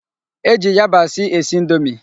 E ji yabasị esi indomi.